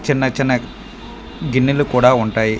చిన్న చిన్న గిన్నలు కూడా ఉంటాయి.